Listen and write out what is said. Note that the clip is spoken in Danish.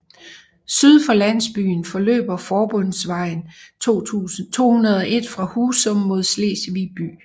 Syd for landsbyen forløber forbundsvejen 201 fra Husum mod Slesvig by